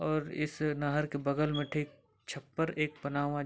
और इस नहर के बगल में ठीक छपर एक बना हुआ हैं।